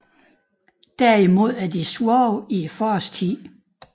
Derimod er de svage i forårstiden